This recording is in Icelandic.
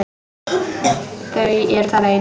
Þau eru þar ein.